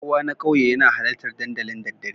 Kowa na ƙauye yana halartar dandali daddare